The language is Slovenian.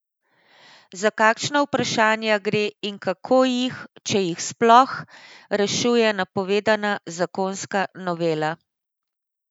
Za kakšna vprašanja gre in kako jih, če jih sploh, rešuje napovedana zakonska novela?